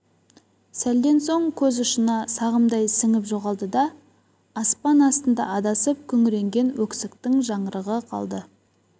сәлден соң көз ұшына сағымдай сіңіп жоғалды да аспан астында адасып күңіренген өксіктің жаңғырығы қалды